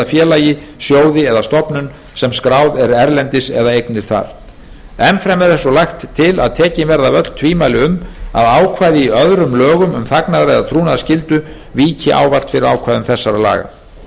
félagi sjóði eða stofnun sem skráð er erlendis eða eignir þar enn fremur er svo lagt til að tekin verði af öll tvímæli um að ákvæði í öðrum lögum um þagnar eða trúnaðarskyldu víki ávallt fyrir ákvæðum þessara laga